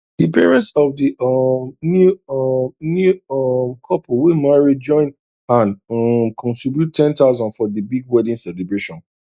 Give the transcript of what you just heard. the parents of the um new um new um couple wey marry join hand um contribute ten thosand for the big wedding celebration